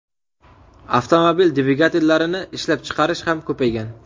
Avtomobil dvigatellarini ishlab chiqarish ham ko‘paygan.